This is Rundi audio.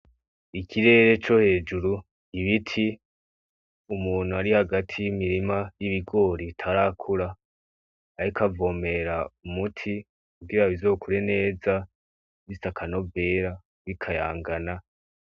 Ikirere co hejuru, ibiti, umuntu ari hagati y'ibigori bitarakura ariko avomera umuti kugira ngo bizokure neza bifise akanovera bikayangana.